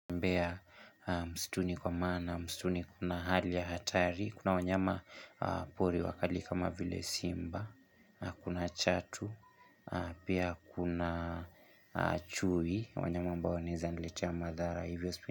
Mbea msituni kwa maana, msituni kuna hali ya hatari, kuna wanyama pori wakali kama vile simba, na kuna chatu, pia kuna chui, wanyama mbao wanaeza niletea madhara.